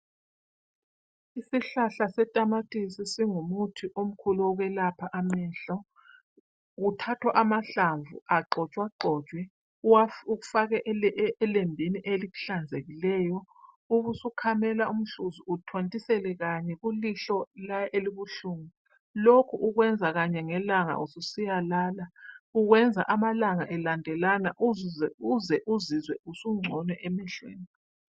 Isihlahla setamatisi singumuthi omkhulu wokwelapha amehlo ,kuthathwa amahlamvu agxhotshagxhotshwe ufake elembini elihlanzekileyo ubusukhamela uhluzi uthontisele kanye kulihlo elibuhlungu lokhu ukwenza kanye ngelanga ususiya lala lokhu ukwenza amalanga elandelana uze uzizwe usungcono emehlweni.